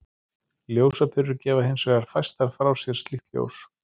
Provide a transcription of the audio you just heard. Ljósaperur gefa hins vegar fæstar frá sér slíkt ljós.